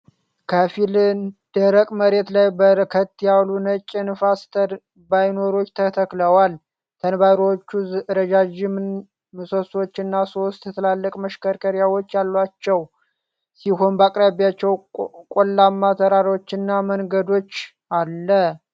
ከፊል ደረቅ መሬት ላይ በርከት ያሉ ነጭ የንፋስ ተርባይኖች ተተክለዋል። ተርባይኖቹ ረዣዥም ምሰሶዎች እና ሶስት ትላልቅ መሽከርከሪያዎች ያላቸው ሲሆን በአቅራቢያቸው ቆላማ ተራሮችና መንገድ አለ።